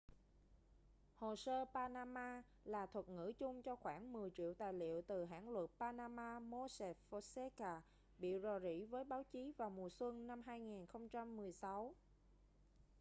hồ sơ panama là thuật ngữ chung cho khoảng mười triệu tài liệu từ hãng luật panama mossack fonseca bị rò rỉ với báo chí vào mùa xuân 2016